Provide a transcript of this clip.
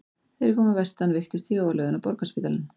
Þegar ég kom að vestan veiktist ég og var lögð inn á Borgarspítalann.